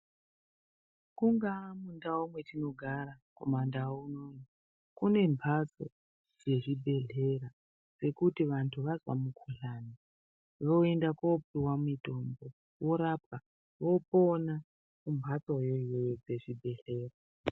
Kungaa kundau kwetinogara kumandau kune mhatso dzezvibhehlera dzekuti vantu vazwa mukuhlani voenda koopiwa mitombo vorapwa vopona kumhatsoyo iyoyo dzezvibhedhlera.